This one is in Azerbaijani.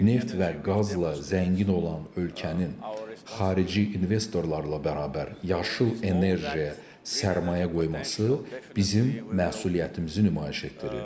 Neft və qazla zəngin olan ölkənin xarici investorlarla bərabər yaşıl enerjiyə sərmayə qoyması bizim məsuliyyətimizi nümayiş etdirir.